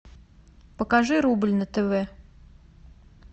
покажи рубль на тв